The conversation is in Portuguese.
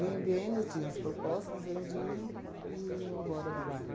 Vendendo, tinham as propostas, vendiam e iam embora do bairro.